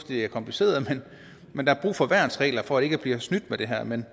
det er kompliceret men der er brug for værnsregler for ikke bliver snydt med det her men